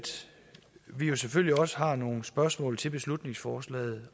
vi jo selvfølgelig også har nogle spørgsmål til beslutningsforslaget